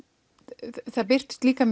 það birtust líka